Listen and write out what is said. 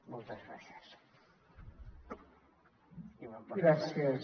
moltes gràcies